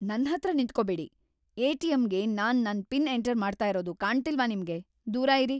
ನನ್ಹತ್ರ ನಿಂತ್ಕೊಬೇಡಿ! ಎ.ಟಿ.ಎಂ.ಗೆ ನಾನ್ ನನ್ ಪಿನ್ ಎಂಟರ್‌ ಮಾಡ್ತಾ ಇರೋದು ಕಾಣ್ತಿಲ್ವಾ ನಿಮ್ಗೆ?! ದೂರ ಇರಿ.